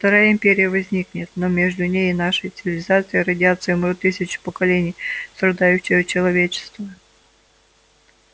вторая империя возникнет но между ней и нашей цивилизацией родятся и умрут тысячи поколений страдающего человечества